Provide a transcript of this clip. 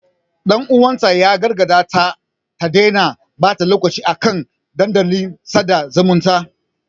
Ɗan uwanta ya gargaɗe ta da ta daina ɓata lokacin ta a kan dandalin sada zumunta.